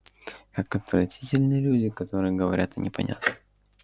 как отвратительны люди которые говорят о непонятном